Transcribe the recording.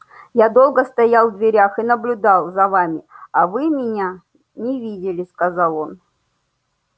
я долго стоял в дверях и наблюдал за вами а вы меня не видели сказал он